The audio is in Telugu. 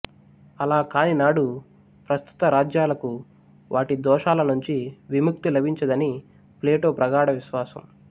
అలాకాని నాడు ప్రస్తుత రాజ్యాలకు వాటి దోషాలనుంచి విముక్తి లభించదని ప్లేటో ప్రగాఢ విశ్వాసం